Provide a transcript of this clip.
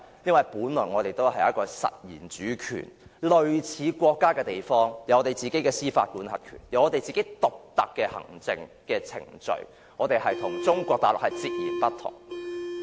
因為，我們本來也是一個有實然主權，類似國家的地方，擁有自己的司法管轄權，擁有獨特的行政程序，是與中國大陸截然不同的。